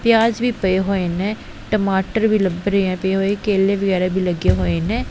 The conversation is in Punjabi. ਪਿਆਜ ਵੀ ਪਏ ਹੋਏ ਨੇ ਟਮਾਟਰ ਵੀ ਲੱਭ ਰਹੇ ਹੈਂ ਪਏ ਹੋਏ ਕੇਲੇ ਵਗੈਰਾ ਵੀ ਲੱਗੇ ਹੋਏ ਨੇ।